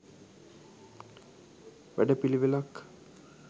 වැඩ පිළිවෙළක්